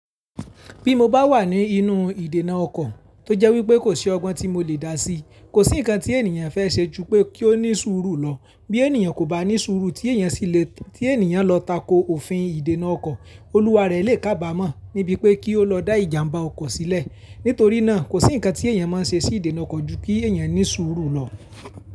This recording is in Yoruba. Bí mo bá wà ní inú ìdènà ọkọ̀ tó jẹ́ wípé kò sí ọgbọ́n tí mo lè dà sí, kò sí nǹkan tí ènìyàn fẹ́ ṣe ju pé kí ó ní sùúrù lọ. Bí ènìyàn kò bá ní sùúrù tí ènìyàn sì le, tí ènìyàn lọ tako òfin ìdènà ọkọ̀, olúwa rẹ̀ lè kábàámọ̀ níbí pé kí ó lọ dá ìjàmbá ọkọ̀ sílẹ̀. Nítorí náà kò sí nǹkan tí ènìyàn máa ń ṣe sí ìdènà ọkọ̀ ju kí ènìyàn ní sùúrù lọ.